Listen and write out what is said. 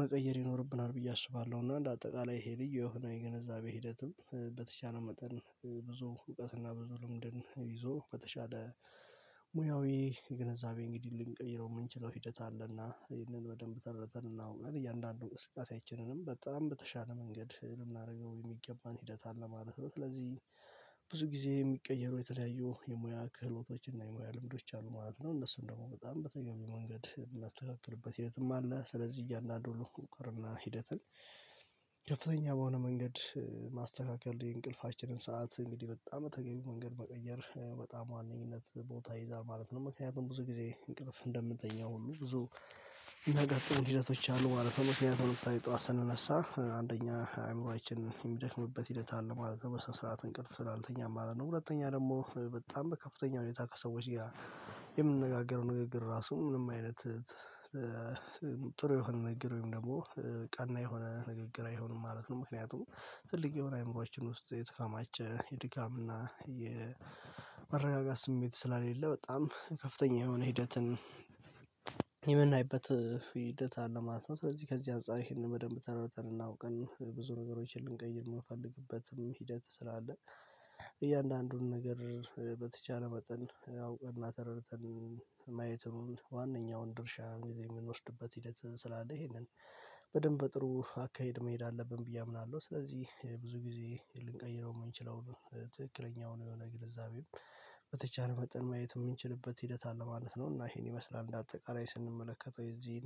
መቀየር ይኖርብናል ብዬ አስባለሁ። እና እንደ አጠቃላይ ይሄ ልዩ የሆነ የግንዛቤ ሂደትን በተቻለ መጠን ብዙ እውቀትና ብዙ ልምድን ይዞ በተሻለ ሙያዊ ግንዛቤ እንግዲህ ልንቀይረው የምንችለው ሂደት አለና ይህንን በደንብ ተረዘንና አውቀን እያንዳንዱን እንቅስቃሴአችንም በጣም በተሻለ መንገድ ልናደርገው የሚገባን ሂደት አለ ማለት ነው። ስለዚህ ብዙ ጊዜ የሚቀየረው የተለያዩ የሙያ ክህሎቶች እና የሙያ ልምዶች አሉ ማለት ነው። እነሱን ደግሞ በጣም በተገቢው መንገድ የምናስተካክልበት ሂደትም አለ ስለዚህ እያንዳንዱ ወቅርና ሂደትን ከፍተኛ በሆነ መንገድ ማስተካከል የእንቅልፋችንን ሰዓት እንግዲህ በጣም ተገቢ መንገድ መቀየር በጣም ዋነኝነት ቦታ ይዛል ማለት ነው። ምክንያቱም ብዙ ጊዜ እንቅልፍ እንደምተኛው ሁሉ ብዙ ነገር ጥሩ ሂደቶች አሉ ማለትነው። ምክንያቱም ጠዋት ስንነሳ አንደኛ አይምሮአችን የሚደክምበት ሂደት አለ ማለት ነው። በስነ ስርዓት እንቅልፍ ስላልተኛን ማለት ነው። ሁለተኛ ደግሞ በጣም በከፍተኛ ሁኔታ ከሰዎች ጋር የምንነጋገረው ንግግር ራሱ ምንም አይነት ጥሩ የሆነ ነገር ወይም ደግሞ ቀና የሆነ ንግግር አይሆንም ማለት ነው። ምክንያቱም ትልቅ የሆነ አእምሮአችን ውስጥ የተካማቸ የድጋም እና የመረጋጋት ስሜት ስላልሌለ በጣም ከፍተኛ የሆነ ሂደትን የምናይበት ሂደት አለ ማለት ነው። በዚህ ከዚህ አንፃር ይሄንን በደንብ ተረድተን እና አውቀን ብዙ ነገሮችን ልንቀይር የምንፈልግበትም ሂደት ስላለ እያንዳንዱን ነገር በተቻለ መጠን አውቀና አተረተን ማየቱን ዋነኛውን ድርሻ እንግዲህ የምንወስድበት ሂደት ስላለ ይሄንን በደንብ በጥሩ አካሄድ መሄድ አለብን ብዬ አምናለሁ። ስለዚህ ብዙ ጊዜ ልንቀይረው የምንችለው ትክክለኛው የሆነ ግለዛቤም በተቻለ መጠን ማየት የምንችልበት ሂደት አለ ማለት ነው። እና ይሄን ይመስላል እንደ አጠቃላይ ስንመለከተው የዚህን